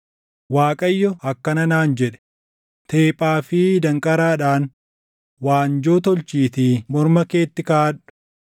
Waaqayyo akkana naan jedhe; “Teephaa fi danqaraadhaan waanjoo tolchiitii morma keetti kaaʼadhu.